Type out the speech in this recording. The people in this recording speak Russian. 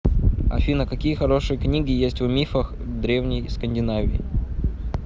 афина какие хорошие книги есть о мифах древней скандинавии